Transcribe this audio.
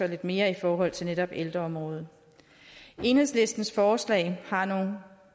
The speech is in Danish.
lidt mere i forhold til netop ældreområdet enhedslistens forslag har nogle